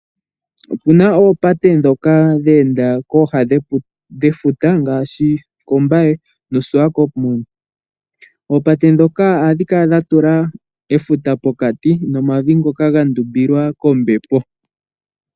Opu na oopate ndhoka dhe enda kooha mefuta, ngaashi koMbaye nokoSwakopmund. Oopate ndhoka ohadhi kala dha tula efuta pokati nomavi ngoka ga ndumbilwa kombepo.